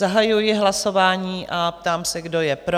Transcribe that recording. Zahajuji hlasování a ptám se, kdo je pro?